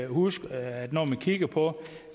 huske at når man kigger på